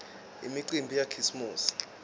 imicimbi yakhisimusi